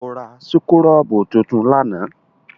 O rà súkúrọ́bù tuntun lánàá?